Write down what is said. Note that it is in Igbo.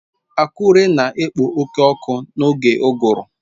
Akure na-ekpo oke ọkụ n'oge uguru